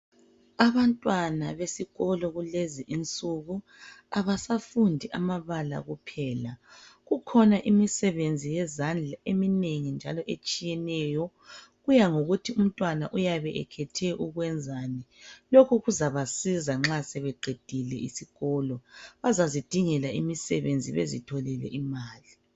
Abantwana besikolo kulenzi insuku abasafundi amabala kuphela, kukhona imisebenzi yezandla eminengi njalo etshiyeneyo kuya ngokuthi umntwana uyabe ekhethe ukwenzani, lokhu kuzabasiza nxa sebeqedile isikolo bazazidingela imisebenzi bazitholele imali.